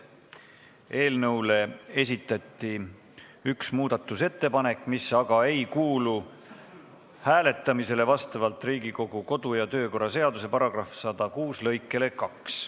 Eelnõu kohta esitati üks muudatusettepanek, mis aga ei kuulu hääletamisele vastavalt Riigikogu kodu- ja töökorra seaduse § 106 lõikele 2.